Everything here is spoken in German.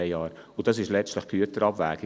Letztlich ist dies die Güterabwägung: